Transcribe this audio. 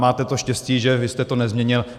Máte to štěstí, že vy jste to nezměnil.